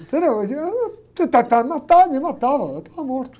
Entendeu? se tentar me matar, me matava, eu estava morto.